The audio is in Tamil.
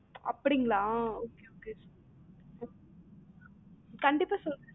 அப்டிங்கலா okay okay கண்டிப்பா சொல்றன்